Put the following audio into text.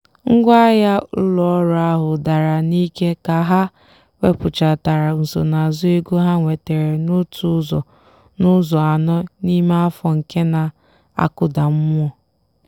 ngwaahịa ụlọ ọrụ ahụ dara n'ike ka ha wepụtachara nsonaazụ ego ha nwetara n'otu ụzọ n'ụzọ anọ n'ime afọ nke na-akụda mmụọ.